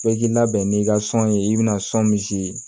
Bɛɛ k'i labɛn n'i ka sɔn ye i bɛ na sɔn misi